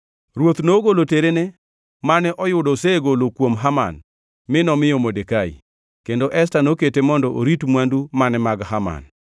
Ruoth nogolo terene mane oyudo osegolo kuom Haman, mi nomiyo Modekai. Kendo Esta nokete mondo orit mwandu mane mag Haman.